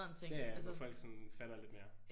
Ja ja hvor folk sådan fatter lidt mere